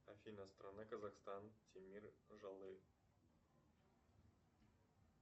афина страна казахстан темир жолы